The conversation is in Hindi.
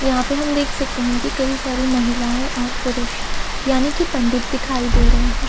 यहाँ पे हम देख सकते हैं कि कई सारी महिलाएं और पुरुष यानी कि पंडित दिखाई दे रहे हैं।